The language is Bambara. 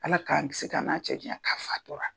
Ala k'an kisi k'an n'a cɛ janya k'a fatura.